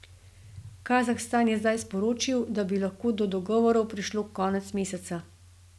Kazahstan je zdaj sporočil, da bi lahko do dogovorov prišlo konec meseca.